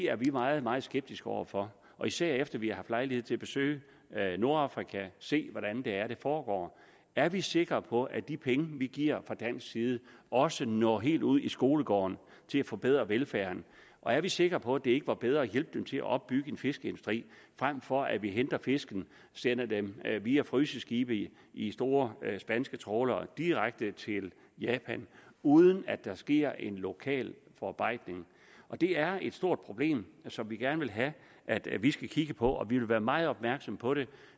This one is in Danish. er vi meget meget skeptiske over for og især efter at vi haft lejlighed til at besøge nordafrika og set hvordan det foregår er vi sikre på at de penge vi giver fra dansk side også når helt ud i skolegården til at forbedre velfærden og er vi sikre på at det ikke var bedre at hjælpe dem til at opbygge en fiskeindustri frem for at vi henter fisken sender den via fryseskibe i i store spanske trawlere direkte til japan uden at der sker en lokal forarbejdning det er et stort problem som vi gerne vil have at vi vi skal kigge på og vi vil være meget opmærksomme på det